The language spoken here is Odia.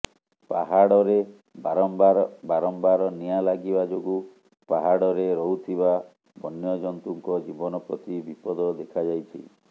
ପାହାଡ଼ରେ ବାରମ୍ବାର ବାରମ୍ବାର ନିଆଁ ଲାଗିବା ଯୋଗୁଁ ପାହାଡ଼ରେ ରହୁଥିବା ବନ୍ୟଜନ୍ତୁଙ୍କ ଜୀବନ ପ୍ରତି ବିପଦ ଦେଖାଯାଇଛି